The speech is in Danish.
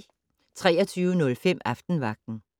23:05: Aftenvagten